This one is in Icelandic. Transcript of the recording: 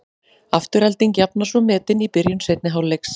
Afturelding jafnar svo metin í byrjun seinni hálfleiks.